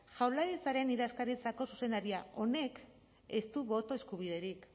jaurlaritzaren idazkaritzako zuzendaria honek ez du boto eskubiderik